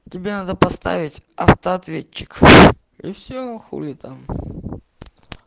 тебе надо поставить автоответчик и все хули там